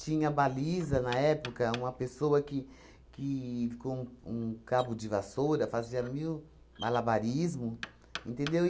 Tinha baliza, na época, uma pessoa que que, com um cabo de vassoura, fazia mil malabarismo, entendeu?